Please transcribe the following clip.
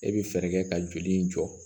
E bɛ fɛɛrɛ kɛ ka joli in jɔ